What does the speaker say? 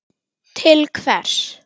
til hvers.